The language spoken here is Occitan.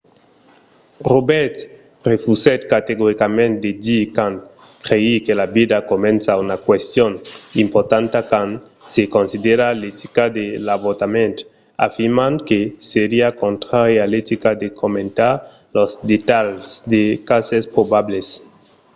roberts refusèt categoricament de dire quand crei que la vida comença una question importanta quand se considera l’etica de l’avortament afirmant que seriá contrari a l’etica de comentar los detalhs de cases probables